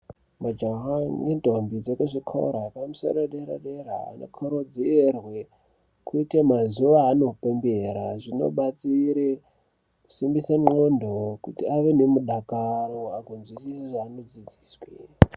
Majaha nendombi dzezvikora zvepamusoro zvedera-dera anokurudzirwa kuita mazuva avanopembera zvinobatsira kusimbisa ngondxo kuti ave nerudakaro kudzidziswa zvava nodzidziswa.